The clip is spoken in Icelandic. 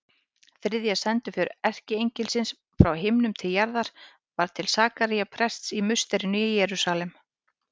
Þriðja sendiför erkiengilsins frá himnum til jarðar var til Sakaría prests í musterinu í Jerúsalem.